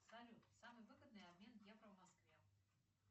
салют самый выгодный обмен евро в москве